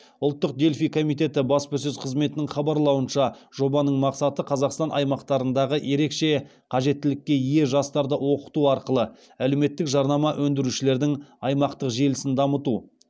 ұлттық дельфий комитеті баспасөз қызметінің хабарлауынша жобаның мақсаты қазақстан аймақтарындағы ерекше қажеттілікке ие жастарды оқыту арқылы әлеуметтік жарнама өндірушілердің аймақтық желісін дамыту